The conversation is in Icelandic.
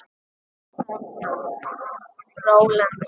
Þú þarna, rolan þín.